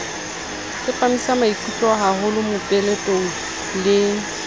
tsepamisa maikutlo haholo mopeletong le